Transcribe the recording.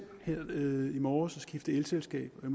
her i i morges at skifte elselskab og